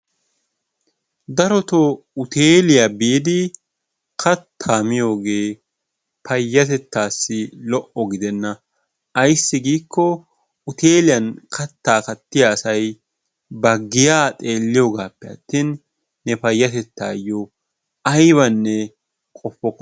darotoo uteeliyaa biidi kattaa miyooge payyatettassi lo''o gidena ayssi giiko uteeliyan kattaa kattiyaa asay ba xeelliyoogappe atin ne payyatettayyo aybbanne qopokkona.